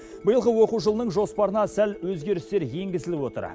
биылғы оқу жылының жоспарына сәл өзгерістер енгізіліп отыр